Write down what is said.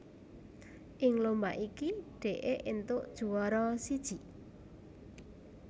Ing lomba iki Dee éntuk juwara siji